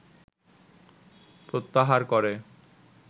প্রত্যাহার করে